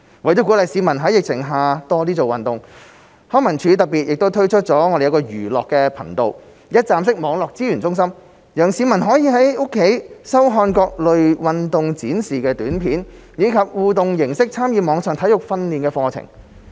為了鼓勵市民在疫情下多做運動，康文署特別推出"寓樂頻道"一站式網上資源中心，讓市民可以在家收看各類運動示範短片，以及以互動形式參與網上體育訓練課程。